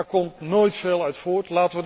Daar komt nooit veel uit voort.